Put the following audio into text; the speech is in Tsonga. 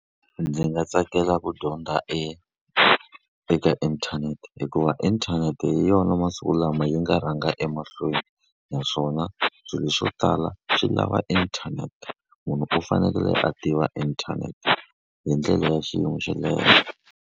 Ndzi nga tsakela ku dyondza eka eka inthanete hikuva inthanete hi yona masiku lama yi nga rhanga emahlweni. Naswona swilo swo tala swi lava inthanete. Munhu u fanekele a tiva inthanete hi ndlela ya xiyimo xa le henhla.